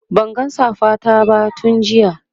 Banga safa ta ba tun jiya